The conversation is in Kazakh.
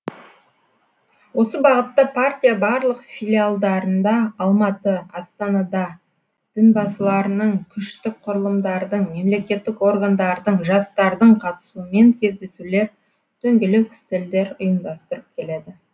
осы бағытта партия барлық филиалдарында алматы астанада дінбасыларының күштік құрылымдардың мемлекеттік органдардың жастардың қатысуымен кездесулер дөңгелек үстелдер ұйымдастырып келеді